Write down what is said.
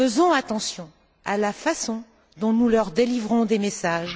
Faisons attention à la façon dont nous leur délivrons des messages.